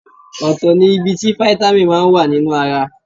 Ọ̀tọ̀ ní ibi tí Fítámì máa wà nínú ara.